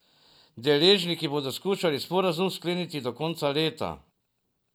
Deležniki bodo skušali sporazum skleniti do konca leta.